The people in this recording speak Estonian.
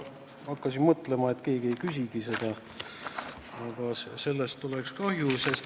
Ma juba hakkasin mõtlema, et keegi ei küsigi seda ja sellest oleks kahju.